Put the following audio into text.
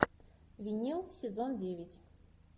винил сезон девять